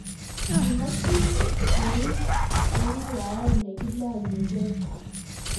kimekchi kuwis eng' rwae ne kilonyigei